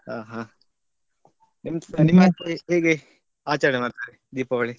ಹ ಹ ನಿಮ್ಮ ಆಚೆ ಹೇಗೆ ಆಚರಣೆ ಮಾಡ್ತಾರೆ ದೀಪಾವಳಿ?